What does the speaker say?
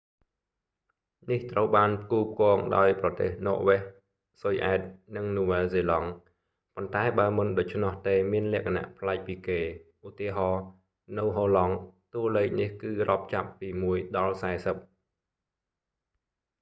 នេះត្រូវបានផ្គូផ្គងដោយប្រទេស ន័រវែស ស៊ុយអែត និង នូវែលហ្សេឡង់ ប៉ុន្តែបើមិនដូច្នោះទេមានលក្ខណៈប្លែកពីគេ ឧទាហរណ៍ នៅហូឡង់ តួលេខនេះគឺរាប់ចាប់ពីមួយដល់សែសិប